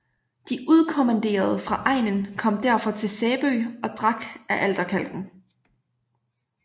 De udkommanderede fra egnen kom derfor til Sæbø og drak af alterkalken